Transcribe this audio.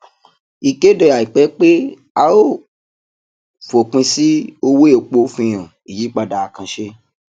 ìkéde àìpẹ pé a yóò fòpin sí owó epo fi hàn ìyípadà àkànṣe